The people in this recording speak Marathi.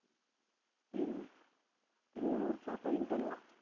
तीन तीन number